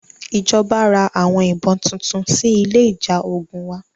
Ìjọba ra àwọn ìbọn tuntun sí ilé ìjà ogun wa.